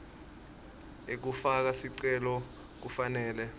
ekufaka sicelo kufanele